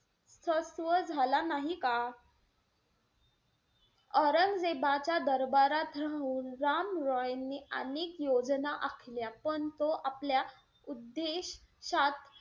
सत्व झाला नाही का? औरंगजेबाच्या दरबारात राहून राम रॉयनी अनेक योजना आखल्या, पण तो आपल्या उद्देशात,